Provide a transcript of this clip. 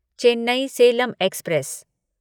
Chennai Salem express